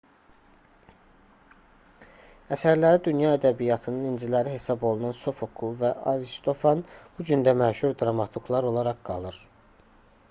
əsərləri dünya ədəbiyyatının inciləri hesab olunan sofokl və aristofan bu gün də məşhur dramaturqlar olaraq qalır